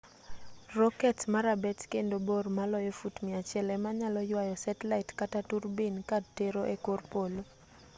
roket ma rabet kendo bor maloyo fut 100 ema nyalo yuayo setlait kata turbin ka tero e kor polo